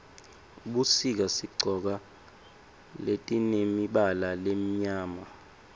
ebusika sigcoka letimemibala lemimyama